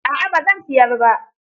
A'a ba zan siyar ba.